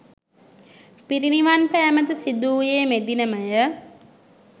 පිරිනිවන් පෑමද සිදුවූයේ මෙදිනම ය.